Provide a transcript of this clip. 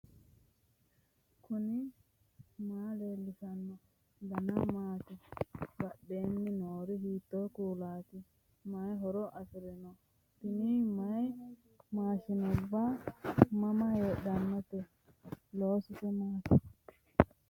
knuni maa leellishanno ? danano maati ? badheenni noori hiitto kuulaati ? mayi horo afirino ? tini mayi maashshinubbati mama heedhannote loosise maati